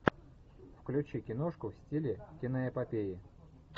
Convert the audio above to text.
включи киношку в стиле киноэпопеи